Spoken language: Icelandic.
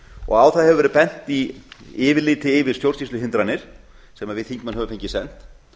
og á það hefur verið bent í yfirliti yfir stjórnsýsluhindranir sem við þingmenn höfum fengið sent